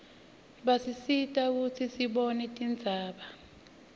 basisita kutsi sibone tindzaba